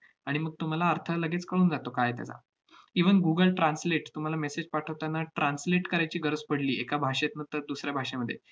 आणि मग तुम्हाला अर्थ लगेच कळून जातो काय आहे त्याला. even google translate तुम्हाला message पाठवताना translate करायची गरज पडली एका भाषेतनं तर दुसऱ्या भाषेमध्ये